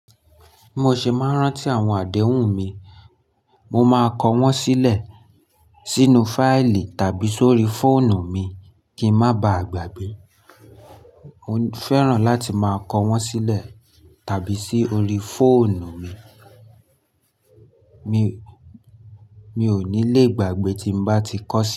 Bi mo ṣé máa ń rántí àwọn àdéhùn mi, mo máa kọ wọ́n sílẹ̀ sínú fáìlì tàbí sórí fóònù mi kí ń má ba à gbàgbé. Mo fẹ́ràn láti máa kọ wọ́n sílẹ̀ tàbí sí orí fóònù mi, mi ò ní lè gbàgbé tí n bá ti kọ sí.